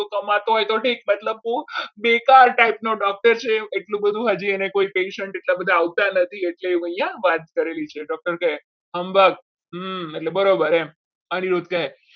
તું કમાતો હોય તો ઠીક પણ તું બેકાર type નો doctor છે એટલું બધું હજી કોઈ અને patient એને આવતા નથી એટલે અહીંયા એને વાત કરેલી છે doctor કહે અંબા એટલે બરાબર એમ અનિરુદ્ધ કહે